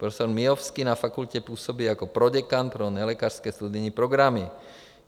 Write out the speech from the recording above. Profesor Miovský na fakultě působí jako proděkan pro nelékařské studijní programy.